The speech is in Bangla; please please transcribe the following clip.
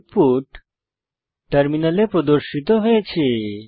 আউটপুট টার্মিনালে প্রদর্শিত হয়েছে